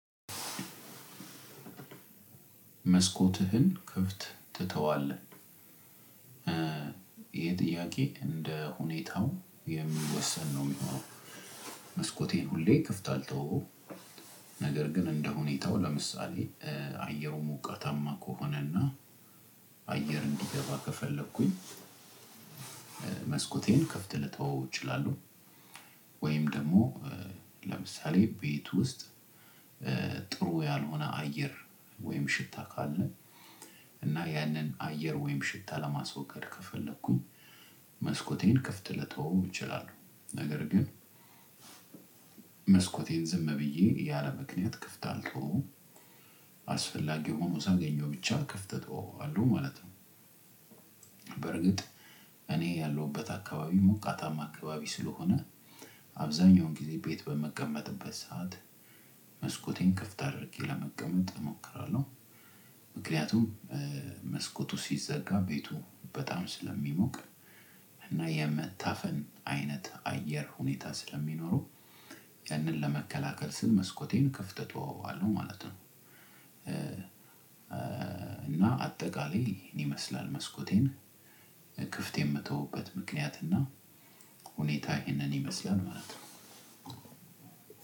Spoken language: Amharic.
መስኮትህን ክፍት ትተዋለህ? ይሄ ጥያቄ እንደ ሁኔታው የሚወሰን ነው የሚሆነው መስኮቴን ሁሌ ክፍት አልተወውም ነገር ግን እንደ ሁኔታው ለምሳሌ አየሩ ሞቃታማ ከሆነና አየር እንዲገባ ከፈለኩኝ መስኮቴን ክፍት ልተወው እችላለሁ ወይም ደግሞ ለምሳሌ ቤት ውስጥ ጥሩ ያልሆነ አየር ወይም ሽታ ካለ እና ያንን አየር ወይም ሽታ ለማስወገድ ከፈለኩኝ መስኮቴን ክፍት ልተወው እችላለሁ ነገር ግን መስኮቴን ዝም ብዬ ያለ ምክንያት ክፍት አልትወዉም። አስፈላጊ ሆኖ ሳገኘው ብቻ ክፍት እተወዋለው ማለት ነው። በርግጥ እኔ ያለሁበት አካባቢ ሞቃታማ አካባቢ ስለሆነ አብዛኛውን ጊዜ ቤት በመቀመጥበት ሰዓት መስኮቴን ክፍት አድርጌ ለመቀመጥ እሞክራለሁ። ምክንያቱም መስኮቱ ሲዘጋ ቤቱ በጣም ስለሚሞቅ እና የመታፈን አይነት አየር ሁኔታ ስለሚኖረው ያንን ለመከላከል ስል መስኮቴን ክፍት ተወዋለሁ ማለት ነው። እና አጠቃላይ ይህን ይመስላል መስኮቴን ክፍት የምተውበት ምክንያት እና ሁኔታው ይሄንን ይመስላል ማለት ነው።